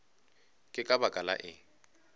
ke ka baka la eng